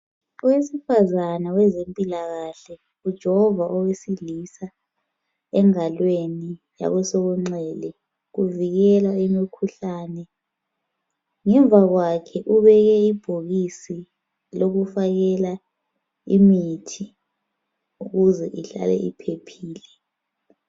Owesifazane wezempilakahle ujova owesilisa engalweni yakwesokunxele kuvikela imkhuhlane. Ngemva kwakhe ubeke ibhokisi lokufakela imithi ukuze ihlale iphephile.